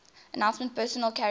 armoured personnel carriers